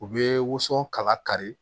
U bɛ woson kala kari